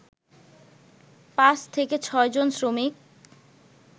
৫/৬ জন শ্রমিক